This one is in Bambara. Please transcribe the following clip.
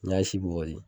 N'i y'a si bɔgɔti